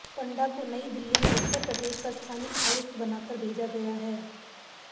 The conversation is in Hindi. पंडा को नयी दिल्ली में उत्तर प्रदेश का स्थानिक आयुक्त बनाकर भेजा गया है